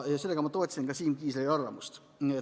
Sellega ma toetasin Siim Kiisleri arvamust.